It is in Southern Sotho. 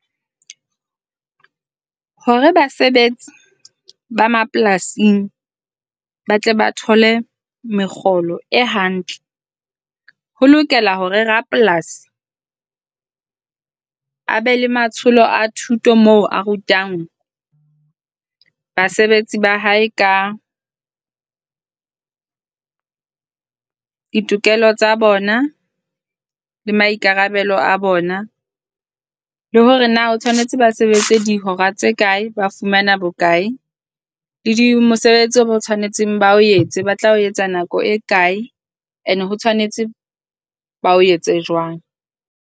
Hore basebetsi ba mapolasing ba tle ba thole mekgolo e hantle, ho lokela hore rapolasi a be le matsholo a thuto moo a rutang basebetsi ba hae ka ditokelo tsa bona, le maikarabelo a bona. Le hore na o tshwanetse ba sebetse dihora tse kae, ba fumana bokae le di mosebetsi o tshwanetseng ba o etse, ba tla etsa nako e kae. Ene ho tshwanetse ba o etse jwang.